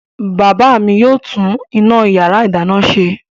Bàbá mi yóò tún iná ìyàrá-ìdáná ṣe.